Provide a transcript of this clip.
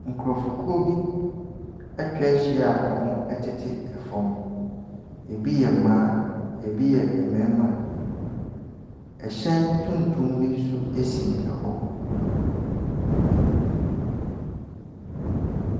Nkurɔfokuo bi atwa ahyia a wɔtete fam, bi yɛ mmaa, bi yɛ mmarima. Hyɛn tuntum bi nso si hɔ.